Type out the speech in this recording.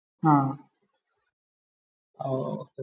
ആഹ്